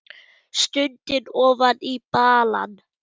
Stundi ofan í balann.